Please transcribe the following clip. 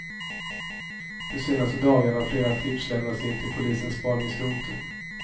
De senaste dagarna har flera tips lämnats in till polisens spaningsrotel.